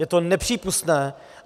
Je to nepřípustné.